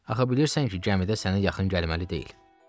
Axı bilirsən ki, gəmidə sənə yaxın gəlməli deyil.